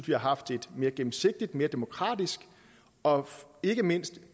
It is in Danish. vi har haft en mere gennemsigtig og mere demokratisk og ikke mindst